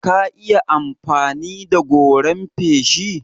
Ka iya amfani da goran feshi?